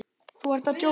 Þú ert að djóka, ókei?